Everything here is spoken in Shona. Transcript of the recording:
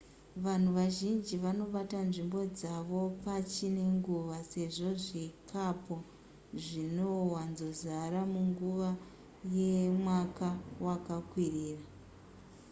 vanhu vazhinji vanobata nzvimbo dzavo pachine nguva sezvo zvikapo zvinowanzozara munguva yemwaka wakakwirira